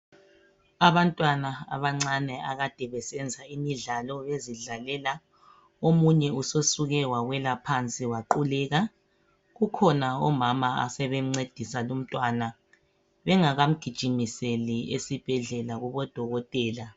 Abantwana abancane akade besenza imidlalo bezidlalela omunye sesuke wawela phansi waquleka kukhona umama ozama ukumncedisa lumntwana bengaka mgijimiseli esibhedlela